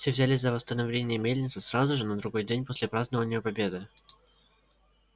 все взялись за восстановление мельницы сразу же на другой день после празднования победы